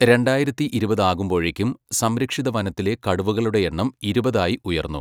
രണ്ടായിരത്തി ഇരുപത് ആകുമ്പോഴേക്കും സംരക്ഷിതവനത്തിലെ കടുവകളുടെ എണ്ണം ഇരുപത് ആയി ഉയർന്നു.